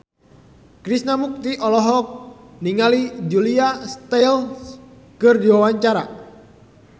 Krishna Mukti olohok ningali Julia Stiles keur diwawancara